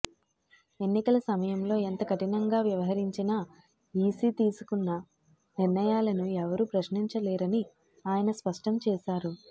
ఎన్నికల సమయంలో ఎంత కఠినంగా వ్యవహరించినా ఈసీ తీసుకున్న నిర్ణయాలను ఎవరు ప్రశ్నించలేరని ఆయన స్పష్టం చేశారు